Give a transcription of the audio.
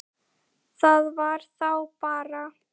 Það var þá bara